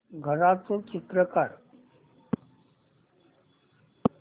घराचं चित्र काढ